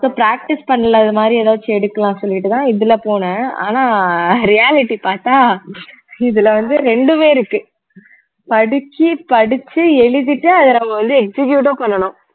so practice பண்றது இந்த மாதிரி எதாச்சும் எடுக்கலான்னு சொல்லிட்டுதான் இதுல போனேன் ஆனா reality பார்த்தா இதுல வந்து ரெண்டுமே இருக்கு படிச்சு படிச்சு எழுதிட்டு அதை நம்ம வந்து execute உம் பண்ணணும்